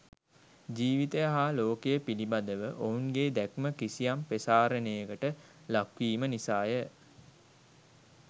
ජීවිතය හා ලෝකය පිළිබඳව ඔවුන් ගේ දැක්ම කිසියම් ප්‍රසාරණයකට ලක් වීම නිසා ය.